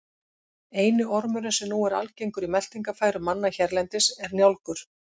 Eini ormurinn sem nú er algengur í meltingarfærum manna hérlendis er njálgur.